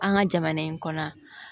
An ka jamana in kɔnɔ